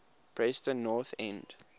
preston north end